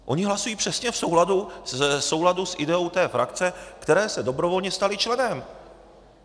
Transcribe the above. Oni hlasují přesně v souladu s ideou té frakce, které se dobrovolně stali členem.